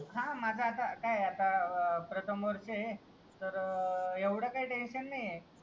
हा माझं आता काय आत्ता अह प्रथम वर्ष आहे तर एव्हडं काय टेन्शन काय नाय ए